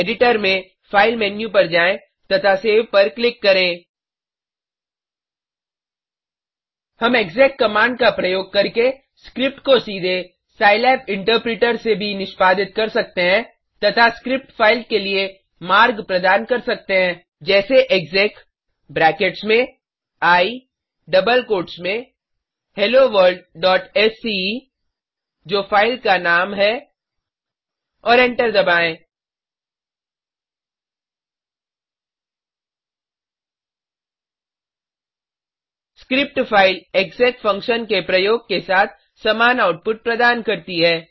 editor में file menu पर जाएँ तथा सेव पर क्लिक करें हम एक्सेक कमांड का प्रयोग करके स्क्रिप्ट को सीधे सिलाब इंटरप्रिटर से भी निष्पादित कर सकते हैं तथा स्क्रिप्ट फाइल के लिए मार्ग प्रदान करते हैं जैसे एक्सेक ब्रैकेट्स में आई डबल कोट्स में helloworldसीई जो फ़ाइल का नाम है और एंटर दबाएँ स्क्रिप्ट फाइल एक्सेक फंक्शन के प्रयोग के साथ समान आउटपुट प्रदान करती है